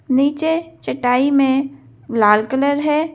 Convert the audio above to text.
नीचे चटाई में लाल कलर है।